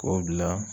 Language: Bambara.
K'o bila